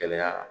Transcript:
Gɛlɛya